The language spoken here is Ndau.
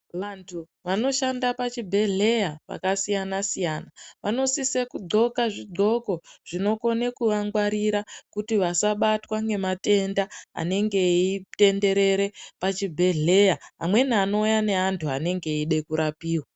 Vantu vanoshanda pachibhedhleya vakasiyana-siyana vanosise kugonhla zvigonhlo zvinokona kuvangwarira kuti vasabatwa nematenda anenge eitenderera pachibhedhleya amweni anouya neantu anenge eida kurapiwa.